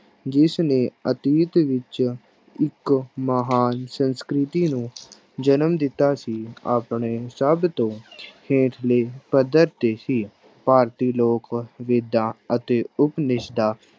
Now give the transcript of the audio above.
ਜਿਸਨੇ ਅਤੀਤ ਵਿੱਚ ਇੱਕ ਮਹਾਨ ਸੰਸਕ੍ਰਿਤੀ ਨੂੰ ਜਨਮ ਦਿੱਤਾ ਸੀ ਆਪਣੇ ਸਭ ਤੋਂ ਹੇਠਲੇ ਪੱਧਰ ਤੇ ਸੀ, ਭਾਰਤੀ ਲੋਕ ਵੇਦਾਂ ਅਤੇ ਉਪਨਿਸ਼ਦਾਂ